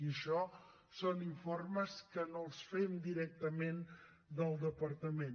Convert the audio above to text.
i això són informes que no els fem directament al departament